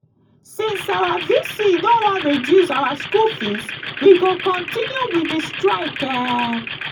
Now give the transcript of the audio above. since our vc no wan reduce our school fees we go continue with the strike um